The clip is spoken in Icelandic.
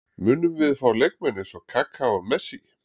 Munum við fá leikmenn eins og Kaka og Messi?